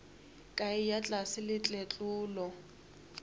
a eya tlase le tletlolo